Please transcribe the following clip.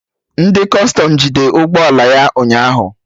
Ndị Kọstọm jide ụgbọ ala ya ụnyaahụ